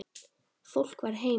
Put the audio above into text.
Fólk var heima.